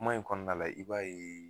Kuma in kɔnɔna la i b'a ye